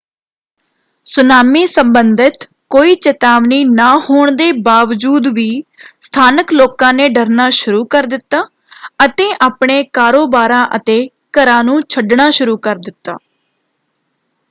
Tsunami ਸੰਬੰਧਿਤ ਕੋਈ ਚੇਤਾਵਨੀ ਨਾ ਹੋਣ ਦੇ ਬਾਵਜੂਦ ਵੀ ਸਥਾਨਕ ਲੋਕਾਂ ਨੇ ਡਰਨਾ ਸ਼ੁਰੂ ਕਰ ਦਿੱਤਾ ਅਤੇ ਆਪਣੇ ਕਾਰੋਬਾਰਾਂ ਅਤੇ ਘਰਾਂ ਨੂੰ ਛੱਡਣਾ ਸ਼ੁਰੂ ਕਰ ਦਿੱਤਾ।